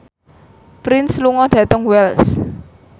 Prince lunga dhateng Wells